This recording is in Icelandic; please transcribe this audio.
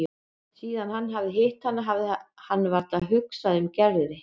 Síðan hann hafði hitt hana hafði hann varla hugsað um Gerði.